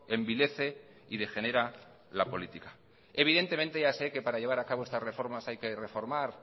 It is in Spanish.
envilece y degenera la política evidentemente ya sé que para llevar a cabo estas reformas hay que reformar